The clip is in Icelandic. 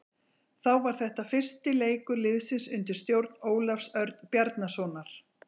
Þá var þetta fyrsti leikur liðsins undir stjórn Ólafs Örn Bjarnasonar.